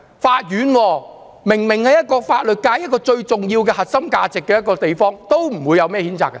法院明明是法律界一個最重要的地方，象徵其核心價值，他們都不出來譴責。